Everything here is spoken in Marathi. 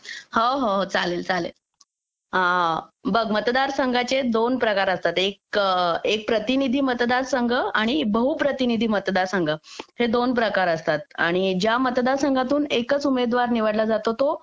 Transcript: हो हो हो चालेल चालेल बघ मतदार संघाचे दोन प्रकार असतात एक प्रतिनिधी मतदारसंघ आणि बहुप्रतीनिधी मतदार संघ हे दोन प्रकार असतात आणि ज्या मतदारसंघातून एक एकच उमेदवार निवडला जातो तो